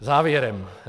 Závěrem.